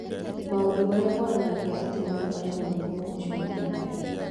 Maũndũ marĩa monanagia atĩ mũndũ arĩ na mũrimũ ũcio nĩ ta maya: